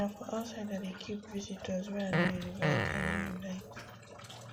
na for outside i dey keep visitors wey i no invite i no invite